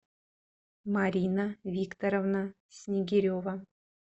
марина викторовна снегирева